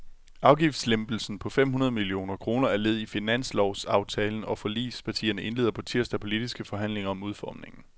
Afgiftslempelsen på fem hundrede millioner kroner er led i finanslovsaftalen, og forligspartierne indleder på tirsdag politiske forhandlinger om udformningen.